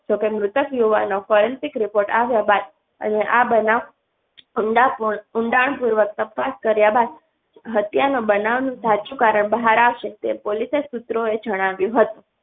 મૃતક યુવાનો forensic report આવ્યા બાદ આ બનાવ. અમદા ઉંડાણ પૂર્વક તપાસ કર્યા બાદ હત્યા ના બનાવ સાચું કારણ બહાર આવશે તેમ પોલીસ સૂત્રોએ જણાવ્યું હતું.